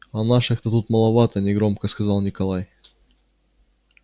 а наших то тут маловато негромко сказал николай